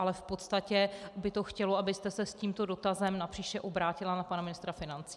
Ale v podstatě by to chtělo, abyste se s tímto dotazem napříště obrátila na pana ministra financí.